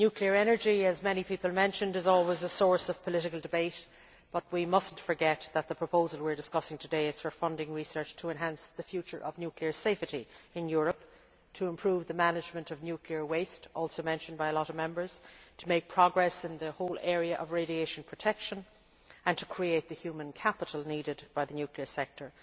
Nuclear energy, as many people mentioned, is always a source of political debate, but we must not forget that the proposal we are discussing today is for funding research to enhance the future of nuclear safety in Europe, to improve the management of nuclear waste, also mentioned by a lot of Members, to make progress in the whole area of radiation protection, and to create the human capital needed by the nuclear sector.